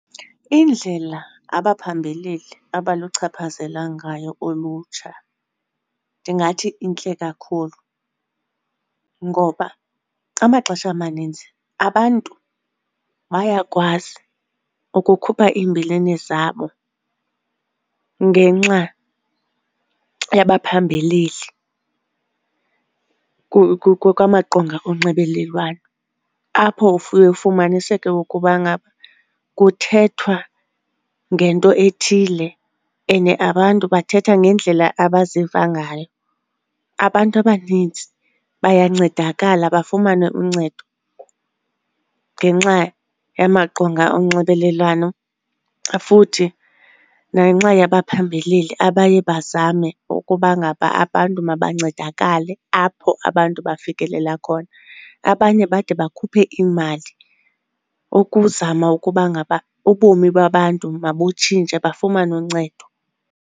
Indlela abaphambeleli abaluchaphazela ngayo ulutsha ndingathi intle kakhulu, ngoba amaxesha amaninzi abantu bayakwazi ukukhupha iimbilini zabo ngenxa yabaphambeleli kwamaqonga onxibelelwano apho ufumaniseke ukuba ngaba kuthethwa ngento ethile ene abantu bathetha ngendlela abaziva ngayo. Abantu abanintsi bayancedakala bafumane uncedo ngenxa yamaqonga onxibelelwano futhi nangenxa yabaphambeleli abaye bazame ukuba ngaba abantu mabancedakale apho abantu bafikelela khona. Abanye bade bakhuphe iimali ukuzama ukuba ngaba ubomi babantu mabutshintshe bafumane uncedo.